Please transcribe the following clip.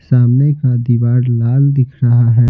सामने का दीवार लाल दिख रहा है।